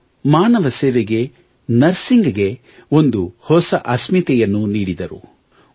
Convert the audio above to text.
ಇವರು ಮಾನವ ಸೇವೆಗೆ ನಸಿರ್ಂಗ್ ಗೆ ಒಂದು ಹೊಸ ಅಸ್ಮಿತೆಯನ್ನು ನೀಡಿದರು